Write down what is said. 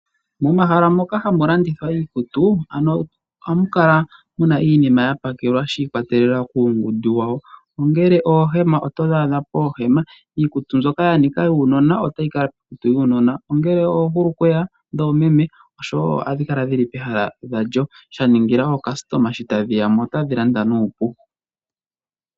Momahala moka hamu landithwa iikutu ohamu kala muna iinima yapakelwa shi ikwatelela kuungundu wawo ongele oohema opo todhi adha poohema, iikutu mbyoka yanika yuunona otoyi adha piikutu yuunona, ngele oohulukweya dhoomeme otodhi adha pehala dhalyo shaningila aalandi shotayeya mo otaya landa nuupu.